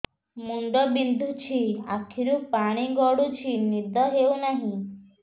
ମୁଣ୍ଡ ବିନ୍ଧୁଛି ଆଖିରୁ ପାଣି ଗଡୁଛି ନିଦ ହେଉନାହିଁ